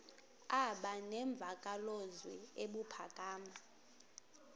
aba nemvakalozwi ebuphakama